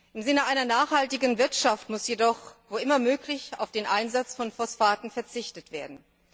Im Sinne einer nachhaltigen Wirtschaft muss jedoch, wo immer möglich, auf den Einsatz von Phosphaten verzichtet werden.